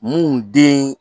Mun den